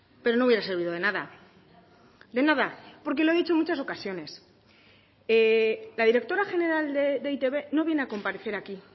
pero no hubiera servido de nada de nada porque lo he dicho en muchas ocasiones la directora general de e i te be no viene a comparecer aquí